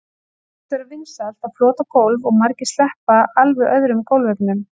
það virðist vera vinsælt að flota gólf og margir sleppa alveg öðrum gólfefnum